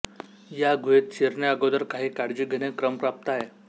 या गुहेत शिरण्या अगोदर काही काळजी घेणे क्रमप्राप्त आहे